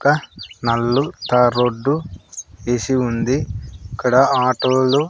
ఒక నల్లు tar road యేసి ఉంది ఇక్కడ ఆటోలు --